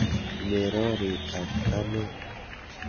Merori ak anee.